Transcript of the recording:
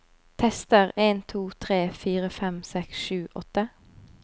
Tester en to tre fire fem seks sju åtte